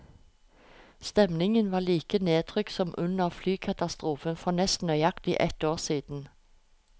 Stemningen var like nedtrykt som under flykatastrofen for nesten nøyaktig ett år siden.